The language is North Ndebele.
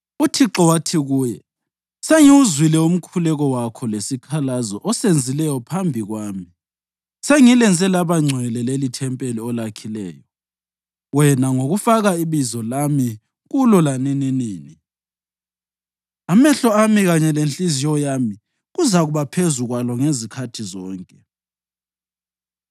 UThixo wathi kuye: “Sengiwuzwile umkhuleko wakho lesikhalazo osenzileyo phambi kwami; sengilenze labangcwele lelithempeli olakhileyo wena ngokufaka iBizo lami kulo lanininini. Amehlo ami kanye lenhliziyo yami kuzakuba phezu kwalo ngezikhathi zonke.